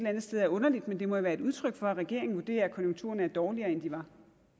andet sted er underligt men det må være et udtryk for at regeringen vurderer at konjunkturerne er dårligere end de var